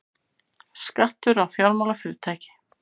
Skattur á fjármálafyrirtæki